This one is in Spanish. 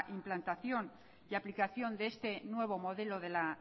implantación y aplicación de este nuevo modelo de la